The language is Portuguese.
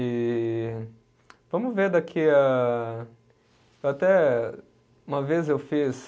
E. Vamos ver daqui a, até, uma vez eu fiz.